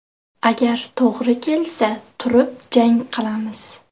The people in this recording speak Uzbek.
Agar to‘g‘ri kelsa turib jang qilamiz.